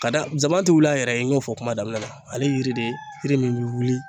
Ka da zaban tɛ wuli a yɛrɛ ye, n y'o fɔ kuma daminɛ na, ale yiri de yiri min bi wuli